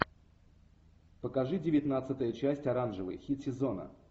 покажи девятнадцатая часть оранжевый хит сезона